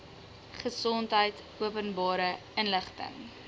gesondheid openbare inligting